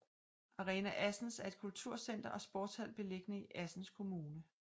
Arena Assens er et kulturcenter og sportshal belligende i Assens Kommune